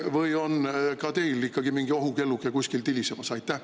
… või on ka teil ikkagi mingi ohukelluke kuskil tilisemas?